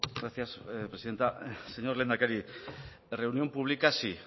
gracias presidenta señor lehendakari la reunión pública sí